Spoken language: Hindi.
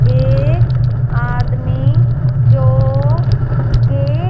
एक आदमी जो गेट --